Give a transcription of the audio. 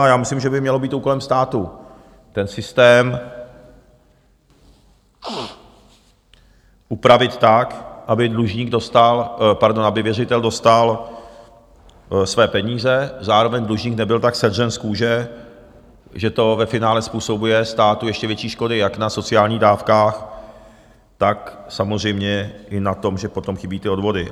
A já myslím, že by mělo být úkolem státu ten systém upravit tak, aby dlužník dostal... pardon, aby věřitel dostal své peníze, zároveň dlužník nebyl tak sedřen z kůže, že to ve finále způsobuje státu ještě větší škody jak na sociální dávkách, tak samozřejmě i na tom, že potom chybí ty odvody.